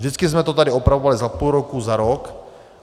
Vždycky jsme to tady opravovali za půl roku, za rok.